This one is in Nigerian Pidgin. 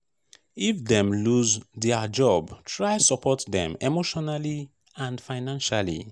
if dem loose their job try support dem emotionally and financially